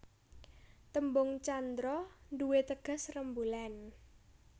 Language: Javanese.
Tembung candra nduwé teges rembulan